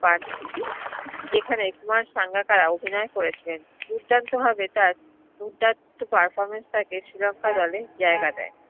পান এখানে কুমার সাঙ্গাকারা অভিনয় করেছেন দুর্দান্ত ভাবে তার দুর্দান্ত performance তাকে শ্রীলংকার দলে জায়্গা দেয়